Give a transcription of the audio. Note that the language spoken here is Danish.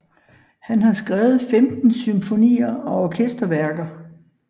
Han har skrevet 15 symfonier og orkesterværker